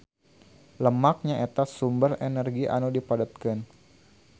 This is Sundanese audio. Lemak nyaeta sumber energi anu dipadetkeun.